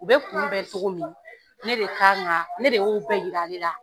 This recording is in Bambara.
U bɛ kun bɛɛ cogo min ? Ne de kan ka, ne de y'o bɛɛ yirali ale la.